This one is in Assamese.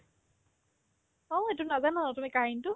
অ, এইটো নাজান তুমি কাহিনীতো